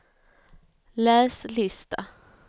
läs lista